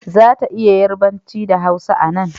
Za ta iya yarbanci da hausa a nan